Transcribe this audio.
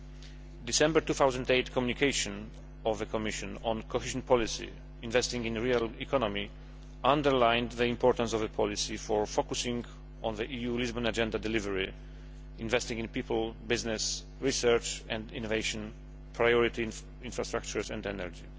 The December 2008 communication of the Commission on Cohesion policy investing in real economy', underlined the importance of the policy for focusing on the EU Lisbon Agenda delivery, investing in people, business, research and innovation, priority infrastructures and energy.